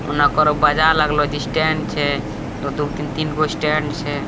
ओने ओकरो बाजार लागलो छै दु-दुगो तीन-तीनगो स्टैंड छै।